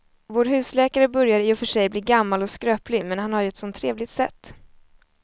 Vår husläkare börjar i och för sig bli gammal och skröplig, men han har ju ett sådant trevligt sätt!